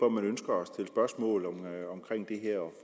at man ønsker at stille spørgsmål om det her